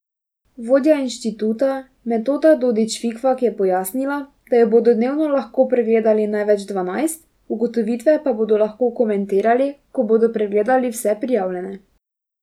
Vodja inštituta Metoda Dodič Fikfak je pojasnila, da jih bodo dnevno lahko pregledali največ dvanajst, ugotovitve pa bodo lahko komentirali, ko bodo pregledali vse prijavljene.